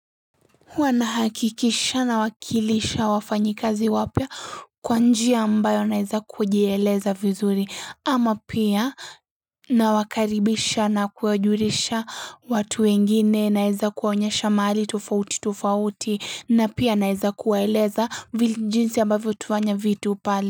Huwa nahakikisha nawakilisha wafanyi kazi wapya kwa njia ambayo naweza kujieleza vizuri ama pia nawakaribisha na kuwajulisha watu wengine naweza kuwaonyesha mahali tofauti tofauti na pia naweza kuwaeleza jinsi ambavyo tunafanya vitu pale.